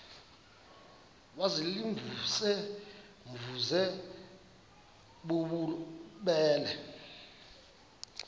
baziimvuze mvuze bububele